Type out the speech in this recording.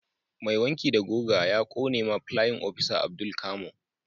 Mai wanki da guga a Kone ma playin opisa Abdul camo